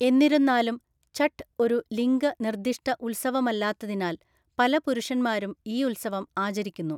എന്നിരുന്നാലും, ഛഠ് ഒരു ലിംഗ നിർദ്ദിഷ്ട ഉത്സവമല്ലാത്തതിനാൽ പല പുരുഷന്മാരും ഈ ഉത്സവം ആചരിക്കുന്നു.